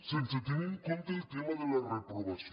sense tenir en compte el tema de la reprovació